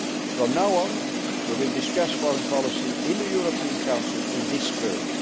player. From now on, we will discuss foreign policy in the European Council in this